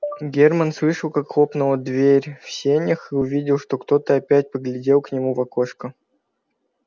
германн слышал как хлопнула дверь в сенях и увидел что кто-то опять поглядел к нему в окошко